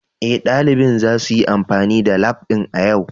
Ee, ɗalibin zasu yi amfani da lab ɗin a yau